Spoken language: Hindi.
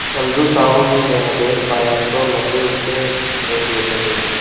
समझू साहु ने नया बैल पाया तो लगे उसे रगेदने